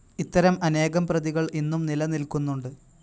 ഇത്തരം അനേകം പ്രതികൾ ഇന്നും നിലനിൽക്കുന്നുണ്ട്.